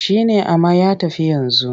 Shi ne amma ya tafi yanzu.